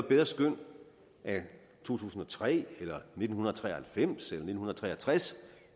bedre skøn af to tusind og tre eller nitten tre og halvfems eller nitten tre og tres